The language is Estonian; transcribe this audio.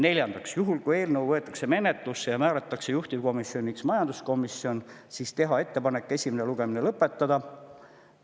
Neljandaks, juhul kui eelnõu võetakse menetlusse ja määratakse juhtivkomisjoniks majanduskomisjon, siis teha ettepanek esimene lugemine lõpetada.